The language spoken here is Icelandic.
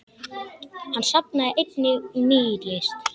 Hann safnaði einnig nýlist.